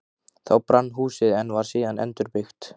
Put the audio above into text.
Þá brann húsið, en var síðan endurbyggt.